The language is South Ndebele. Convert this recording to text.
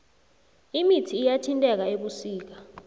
imithi iyathintheka ebusika